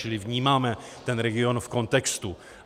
Čili vnímáme ten region v kontextu.